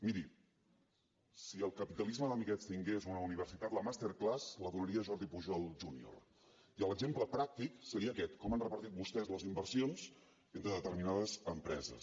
miri si el capitalisme d’amiguets tingués una universitat la masterclass la donaria jordi pujol junior i l’exemple pràctic seria aquest com han repartit vostès les inversions entre determinades empreses